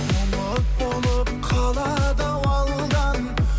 ұмыт болып қалады ау алдан